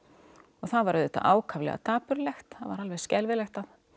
og það var auðvitað ákaflega dapurlegt það var alveg skelfilegt